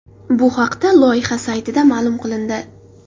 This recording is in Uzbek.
Bu haqda loyiha saytida ma’lum qilindi .